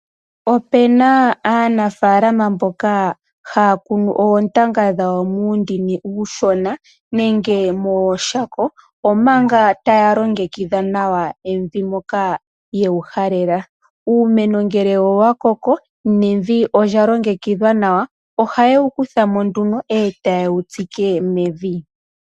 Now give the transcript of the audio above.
Ope na aanafalama mboka haya kunu oontanga dhawo muundini uushona nenge mooshako, omanga taya longekidha nawa evi moka ye wu halela. Uumeno ngele owa koko, nevi olya longekidhwa nawa, ohaye wu kutha mo nduno e taye wu tseke mevi.